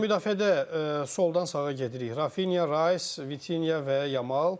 Yarım müdafiədə soldan sağa gedirik, Rafinya, Rays, Vitinya və Yamal.